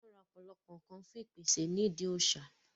wọ́n ra ọ̀pọ̀lọpọ̀ ǹkan fún ìpèsè ní ìdí òsà